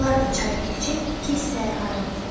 Onlar da çayı keçib iki hissəyə ayrıldılar.